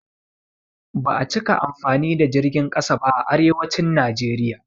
Ba a cika amfani da jirgin ƙasa ba a arewacin Naijeriya.